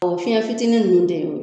fiɲɛ fitinin nunnu de y'o